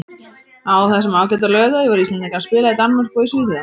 Á þessum ágæta laugardegi voru Íslendingar að spila í Danmörku og í Svíþjóð.